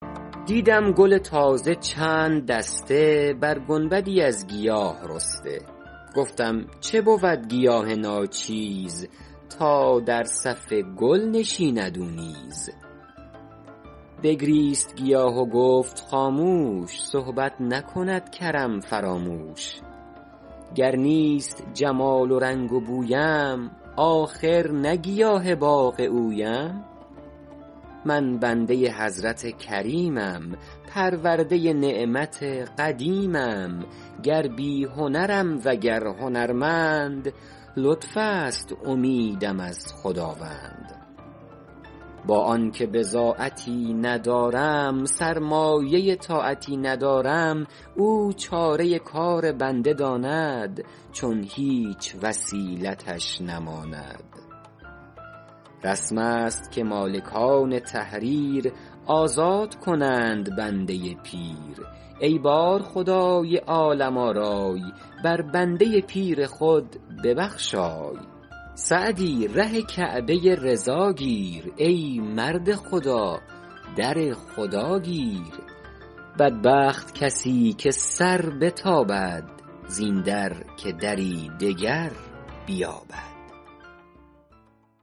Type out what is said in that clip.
دیدم گل تازه چند دسته بر گنبدی از گیاه رسته گفتم چه بود گیاه ناچیز تا در صف گل نشیند او نیز بگریست گیاه و گفت خاموش صحبت نکند کرم فراموش گر نیست جمال و رنگ و بویم آخر نه گیاه باغ اویم من بنده حضرت کریمم پرورده نعمت قدیمم گر بی هنرم وگر هنرمند لطف است امیدم از خداوند با آن که بضاعتی ندارم سرمایه طاعتی ندارم او چاره کار بنده داند چون هیچ وسیلتش نماند رسم است که مالکان تحریر آزاد کنند بنده پیر ای بارخدای عالم آرای بر بنده پیر خود ببخشای سعدی ره کعبه رضا گیر ای مرد خدا در خدا گیر بدبخت کسی که سر بتابد زین در که دری دگر بیابد